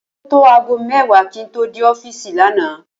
Ó tó aago mé̩wàá kí n tó dé ó̩fíìsì lánàá